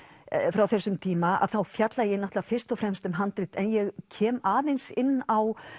frá þessum tíma þá fjalla ég náttúrulega fyrst og fremst um handrit en ég kem aðeins inn á